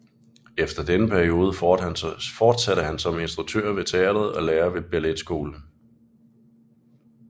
Efter denne periode fortsatte han som instruktør ved teatret og lærer ved balletskolen